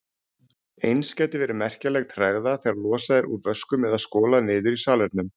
Eins gæti verið merkjanleg tregða þegar losað er úr vöskum eða skolað niður í salernum.